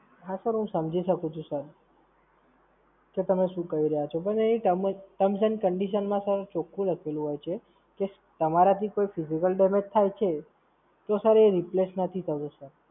હાં Sir હું સમજી શકું છું Sir કે તમે શું કહી રહ્યાં છો. પણ એ Sir in terms, terms and conditions ચોખ્ખું લખેલું હોય છે કે તમારાથી કોઈ Physical damage થાય છે, તો Sir એ Replace નથી થતો Sir